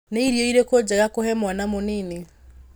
Nĩ irio irĩku njega kũhe mwana mũnini?